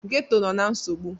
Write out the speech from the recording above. Ghetọ nọ na nsogbu.